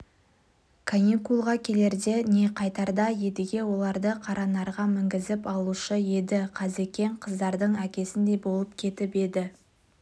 каникулға келерде не қайтарда едіге оларды қаранарға мінгізіп алушы еді қазекең қыздардың әкесіндей болып кетіп еді